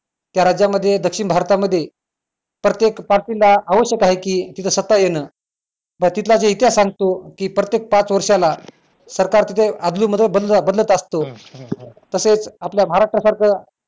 त्या राज्यामध्ये दक्षिण भारतामध्ये प्रत्येक party ला आवश्यक आहे की तिथं सत्ता येणं बरं तिथला जो इतिहास सांगतो ते प्रत्येक पाच वर्षाला अदलून मधून बदल बदलत असतो तसेच आपल्या महाराष्ट्रा सारखं